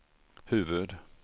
huvud